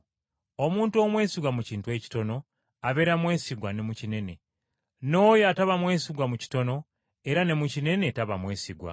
Omuntu omwesigwa mu kintu ekitono, abeera mwesigwa ne mu kinene; n’oyo ataba mwesigwa mu kitono era ne mu kinene taba mwesigwa.